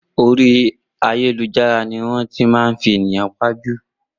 Orí ayélujára ni wọ́n ti máa ń fi ènìyàn pa jù